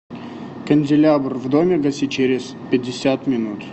канделябр в доме гаси через пятьдесят минут